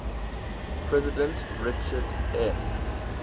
president richard m